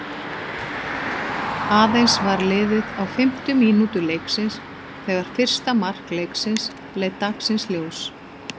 Aðeins var liðið á fimmtu mínútu leiksins þegar fyrsta mark leiksins leit dagsins ljós.